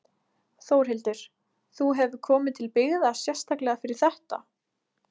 Þórhildur: Þú hefur komið til byggða sérstaklega fyrir þetta?